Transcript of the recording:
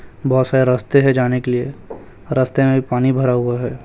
बहोत सारे रस्ते है जाने के लिए रस्ते में पानी भरा हुआ है।